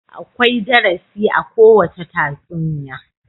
Akwai darasi a kowacce tatsuniya.